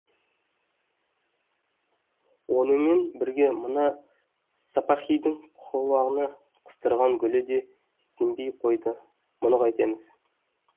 онымен бірге мына сапаһидің құлағына қыстырған гүлі де сембей қойды мұны қайтеміз